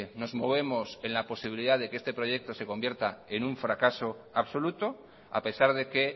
nos movemos en la posibilidad de que este proyecto se convierta en un fracaso absoluto a pesar de que